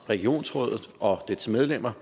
regionsrådet og dets medlemmer